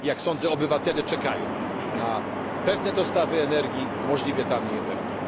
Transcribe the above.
Jak sądzę, obywatele czekają na pewne dostawy energii, możliwie taniej energii.